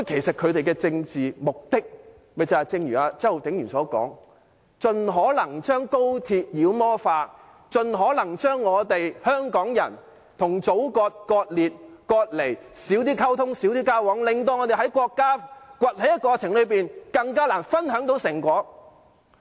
反對派的政治目的正如周浩鼎議員所說，是盡可能將高鐵妖魔化，盡可能將香港人與祖國割裂、割離，減少溝通、減少交往，令我們在國家崛起的過程中，更難分享成果。